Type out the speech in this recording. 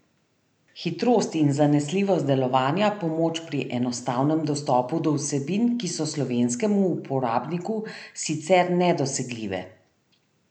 Hitrost in zanesljivost delovanja, pomoč pri enostavnem dostopu do vsebin, ki so slovenskemu uporabniku sicer nedosegljive.